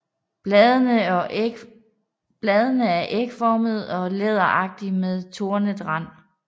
Bladene er ægformede og læderagtige med tornet rand